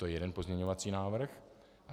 To je jeden pozměňovací návrh.